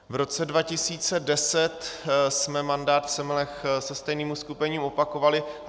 V roce 2010 jsme mandát v Semilech se stejným uskupením opakovali.